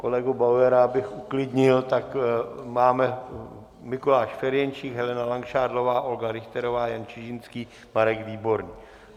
Kolegu Bauera, abych uklidnil, tak máme: Mikuláš Ferjenčík, Helena Langšádlová, Olga Richterová, Jan Čižinský, Marek Výborný.